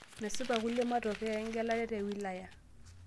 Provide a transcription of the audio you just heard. Mesipa kulie matokeo egelare te wilaya